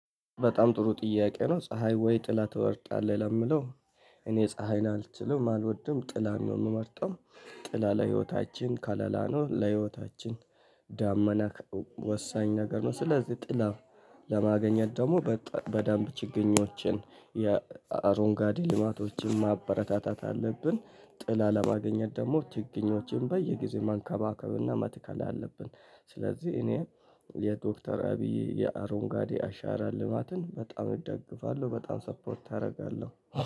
በጣም ጥሩ ጥያቄ ነው ፀሀይ ወይ ጥላ ትወርጣለህ ለሚለው? እኔ ፀሀይን አልችልም አልወድም ጥላም ነው የምመርጠው። ጥላ ለህይወታችን ከለላ ነው። ለህይወታችን ደመና ወሳኝ ነገር ነው። ስለዚህ ጥላ ለማገኘት ደግሞ በደንብ ችግኞችን የአረንጓዴ ልማቶችን ማበረታታት አለብን። ጥላ ለማገኘት ደግሞ ችግኞችን በየጊዜው መንከባከብና መትከል አለብን። ስለዚህ እኔ የዶክተር አብይ የአሮንጋዴ አሻራ ልማትን በጣም እደግፋለሁ በጣም ሰፖርት አደርጋለሁ።